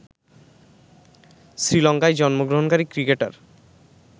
শ্রীলঙ্কায় জন্মগ্রহণকারী ক্রিকেটার